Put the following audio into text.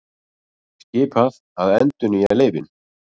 Skipað að endurnýja leyfin